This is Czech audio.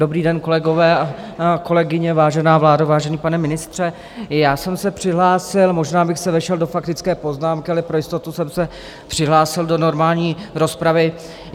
Dobrý den, kolegové a kolegyně, vážená vládo, vážený pane ministře, já jsem se přihlásil, možná bych se vešel do faktické poznámky, ale pro jistotu jsem se přihlásil do normální rozpravy.